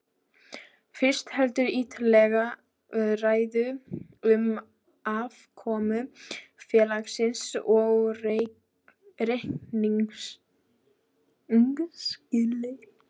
Fyrst heldurðu ítarlega ræðu um afkomu félagsins og reikningsskil.